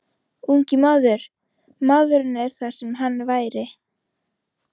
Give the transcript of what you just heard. Ungi maður, MAÐURINN ER ÞAÐ SEM HANN VÆRI.